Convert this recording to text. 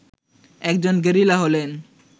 একজন গেরিলা হলেন